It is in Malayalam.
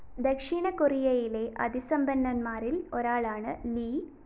ദക്ഷിണ കൊറിയയിലെ അതിസമ്പന്നന്മാരില്‍ ഒരാളാണ് ലി